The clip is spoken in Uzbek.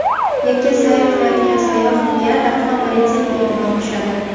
Yakka sayr qilayotgan sayyohga darhol politsiyaning e’tibori tushadi.